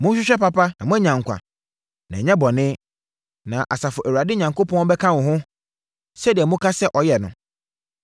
Monhwehwɛ papa, na moanya nkwa na ɛnyɛ bɔne. Na Asafo Awurade Onyankopɔn bɛka wo ho, sɛdeɛ moka sɛ ɔyɛ no.